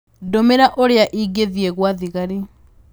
Ndũmĩra ũrĩa ingĩthiĩ gwa thigari